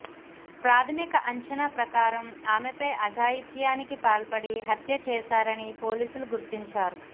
ప్రాథమిక అంచనా ప్రకారం ఆమెపై అఘాయిత్యానికి పాల్పడి హత్యచేశారని పోలీసులు గుర్తించారు